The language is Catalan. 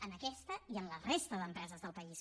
en aquesta i en la resta d’empreses del país